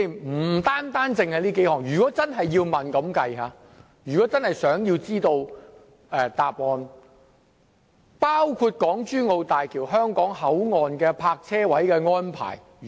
我們想知道答案的問題，不僅這數項，還包括港珠澳大橋香港口岸的泊車位的安排。